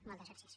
moltes gràcies